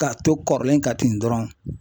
Ka to kɔrɔlen kan ten dɔrɔn.